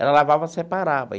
Ela lavava e separava.